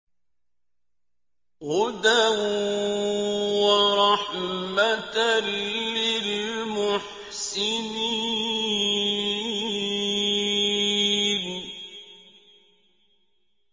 هُدًى وَرَحْمَةً لِّلْمُحْسِنِينَ